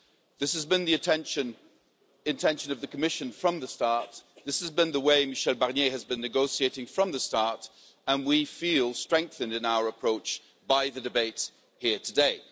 This has been the intention of the Commission from the start, this has been the way Michel Barnier has been negotiating from the start, and we feel strengthened in our approach by the debates here today.